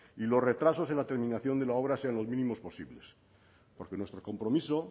y los retrasos en la terminación de la obra sean los mínimos posibles porque nuestro compromiso